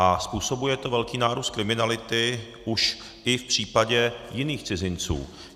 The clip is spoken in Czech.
A způsobuje to velký nárůst kriminality už i v případě jiných cizinců.